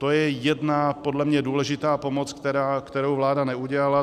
To je jedna podle mě důležitá pomoc, kterou vláda neudělala.